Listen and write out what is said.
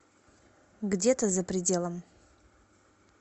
где то за пределом